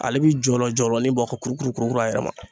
Ale bi jɔlɔ jɔlɔnin bɔ ka kurukuru kuru kuru a yɛrɛ ma